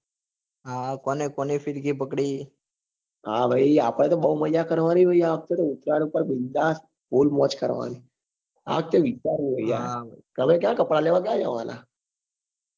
હા આપડે તો બઉ મજા કરવા ની ભાઈ આ વખતે તો ઉતરાયણ પર full મોજ કરવા ની આ વખતે વિચાર્યું છે તમે ક્યાં કપડા લેવા ક્યાં જવાના